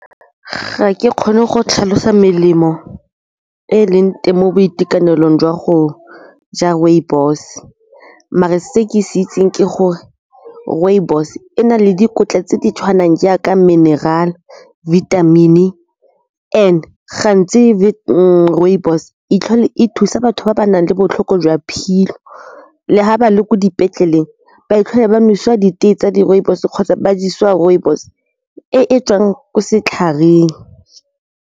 Ga ke kgone go tlhalosa melemo e e leng teng mo boitekanelong jwa go ja rooibos, mare se ke se itseng ke gore rooibos e na le dikotla tse di tshwanang jaaka mineral, vitamin-e and gantsi rooibos e tlhole e thusa batho ba ba nang le botlhoko jwa le ga ba le ko dipetleleng ba ba nosiwa ditee tsa di rooibos kgotsa ba jesiwa rooibos e e tswang ko setlhareng.